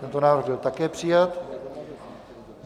Tento návrh byl také přijat.